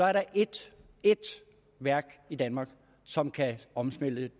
er der ét værk i danmark som kan omsmelte